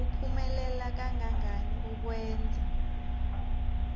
kuphumelela kangangani ukwenza